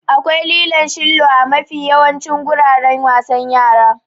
Akwai lilon shillo a mafi yawancin guraren wasan yara.